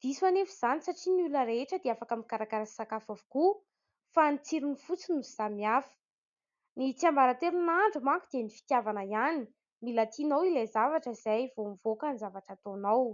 Diso anefa izany satria ny olona rehetra dia afaka mikarakara sakafo avokoa fa ny tsirony fotsiny no samihafa. Ny tsiambaratelon'ny nahandro manko dia ny fitiavana ihany. Mila tianao ilay zavatra izay vao mivoaka ny zavatra ataonao.